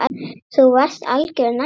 Þú varst algjör nagli.